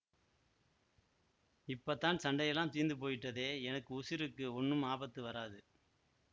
இப்ப தான் சண்டையெல்லாம் தீந்து போயிட்டதே எனக்கு உசிருக்கு ஒண்ணும் ஆபத்து வராது